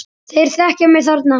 Þeir þekkja mig þarna.